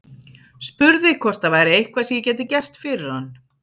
Spurði hvort það væri eitthvað sem ég gæti gert fyrir hann.